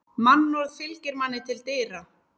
Mannorð fylgir manni til dyra.